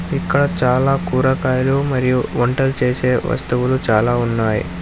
ఇక్కడ చాలా కూరగాయలు మరియు వంటలు చేసే వస్తువులు చాలా ఉన్నాయి.